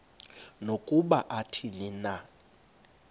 nokuba athini na